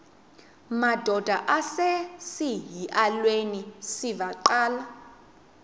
madod asesihialweni sivaqal